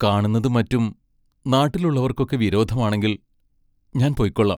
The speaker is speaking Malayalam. കാണുന്നതും മറ്റും നാട്ടിലുള്ളവർക്കൊക്കെ വിരോധമാണെങ്കിൽ ഞാൻ പൊയ്ക്കൊള്ളാം.